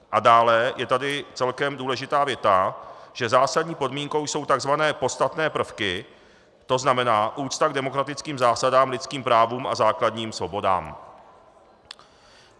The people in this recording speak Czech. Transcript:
A dále je tady celkem důležitá věta, že zásadní podmínkou jsou tzv. podstatné prvky, to znamená úcta k demokratickým zásadám, lidským právům a základním svobodám.